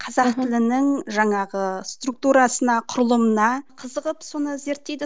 қазақ тілінің жаңағы структурасына құрылымына қызығып соны зерттейді